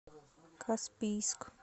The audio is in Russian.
каспийск